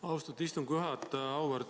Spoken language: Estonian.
Austatud istungi juhataja!